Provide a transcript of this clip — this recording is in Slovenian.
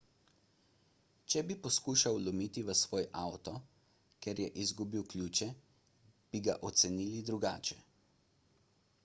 če bi poskušal vlomiti v svoj avto ker je izgubil ključe bi ga ocenili drugače